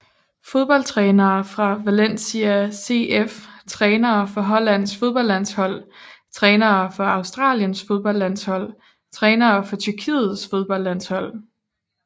Fodboldtrænere fra Valencia CF Trænere for Hollands fodboldlandshold Trænere for Australiens fodboldlandshold Trænere for Tyrkiets fodboldlandshold